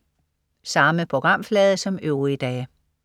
Samme programflade som øvrige dage